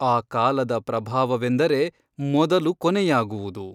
ಆ ಕಾಲದ ಪ್ರಭಾವವೆಂದರೆ ಮೊದಲು ಕೊನೆಯಾಗುವುದು.